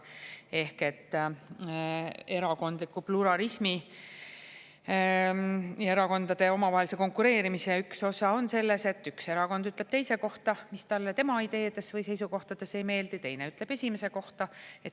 Ehk et erakondliku pluralismi ja erakondade omavahelise konkureerimise üks osa on selles, et üks erakond ütleb teise kohta, mis talle tema ideedes või seisukohtades ei meeldi, ja teine ütleb esimese kohta.